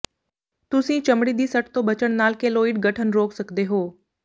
ਤੁਸੀਂ ਚਮੜੀ ਦੀ ਸੱਟ ਤੋਂ ਬਚਣ ਨਾਲ ਕੇਲੋਇਡ ਗਠਨ ਰੋਕ ਸਕਦੇ ਹੋ